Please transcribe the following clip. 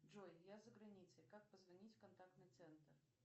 джой я за границей как позвонить в контактный центр